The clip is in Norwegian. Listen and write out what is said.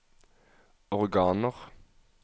organer